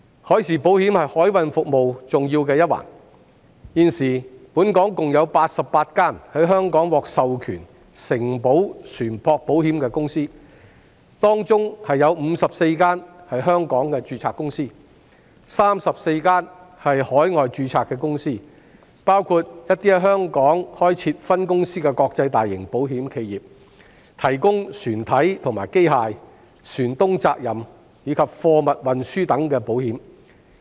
海事保險是海運服務的重要一環，現時本港有88間獲授權承保船舶保險的公司，當中54間是在香港註冊的公司 ，34 間是海外註冊的公司，包括在香港開設分公司的國際大型保險企業，提供船體和機械、船東責任，以及貨物運輸等保險。